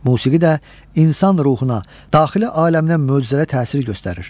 Musiqi də insan ruhuna, daxili aləminə möcüzəli təsir göstərir.